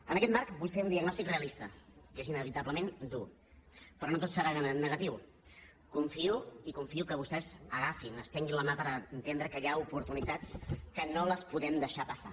en aquest marc vull fer un diagnòstic realista que és inevitablement dur però no tot serà negatiu i confio que vostès agafin estenguin la mà per entendre que hi ha oportunitats que no les podem deixar passar